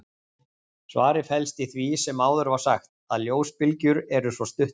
Svarið felst í því sem áður var sagt, að ljósbylgjur eru svo stuttar.